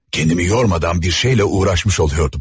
Kəndimi yormadan bir şeylə uğraşmış oluyordum.